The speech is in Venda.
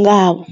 ngavho.